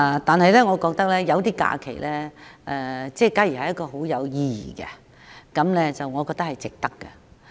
但是，如果有些假期很有意義，我覺得值得訂為假日。